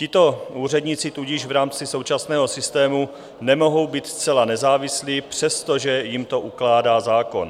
Tito úředníci tudíž v rámci současného systému nemohou být zcela nezávislí, přestože jim to ukládá zákon.